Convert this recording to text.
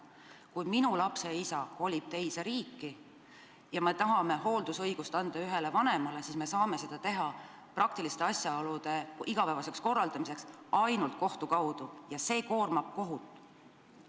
Kui minu lapse isa kolib teise riiki ja me tahame hooldusõiguse anda ühele vanemale, siis me saame seda praktiliste asjaolude igapäevaseks korraldamiseks teha ainult kohtu kaudu ja see koormab kohut.